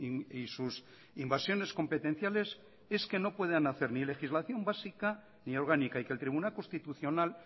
y sus invasiones competenciales es que no puedan hacer ni legislación básica ni orgánica y que el tribunal constitucional